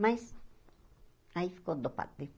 Mas... aí ficou né.